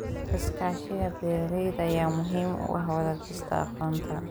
Iskaashiga beeralayda ayaa muhiim u ah wadaagista aqoonta.